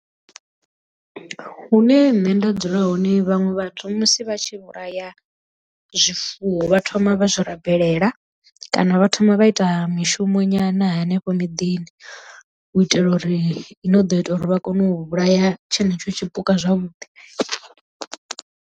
Hune nṋe nda dzula hone vhaṅwe vhathu musi vha tshi vhulaya zwifuwo vha thoma vha zwi rabelela kana vha thoma vha ita mishumo nyana henefho miḓini u itela uri i no ḓo ita uri vha kone u vhulaya tshenetsho tshipuka zwavhuḓi.